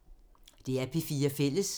DR P4 Fælles